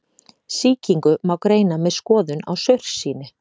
Sýkingu má greina með skoðun á saursýni.